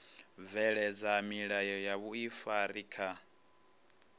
bveledza milayo ya vhuifari kha